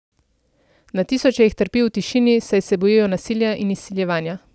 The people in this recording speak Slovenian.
Na tisoče jih trpi v tišini, saj se bojijo nasilja in izsiljevanja.